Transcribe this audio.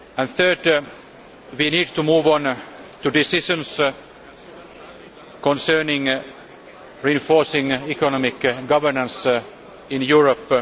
Thirdly, we need to move on to decisions concerning reinforcing economic governance in Europe